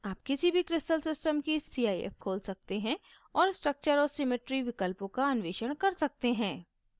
आप किसी भी crystal system की cif खोल सकते हैं और structure और symmetry विकल्पों का अन्वेषण कर सकते हैं